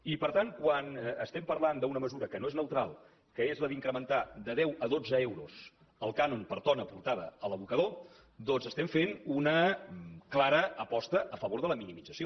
i per tant quan parlem d’una mesura que no és neutral que és la d’incrementar de deu a dotze euros el cànon per tona portada a l’abocador doncs estem fent una clara aposta a favor de la minimització